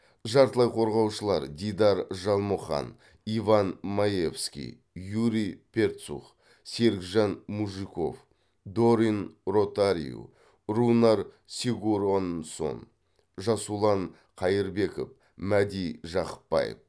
жартылай қорғаушылар дидар жалмұқан иван маевский юрий перцух серікжан мужиков дорин ротариу рунар сигуронссон жасұлан қайырбеков мәди жақыпбаев